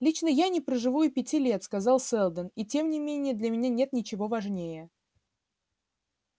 лично я не проживу и пяти лет сказал сэлдон и тем не менее для меня нет ничего важнее